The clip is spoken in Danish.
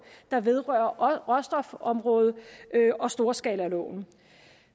der vedrører råstofområdet og storskalaloven